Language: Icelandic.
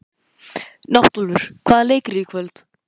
Náttúlfur, hvaða leikir eru í kvöld?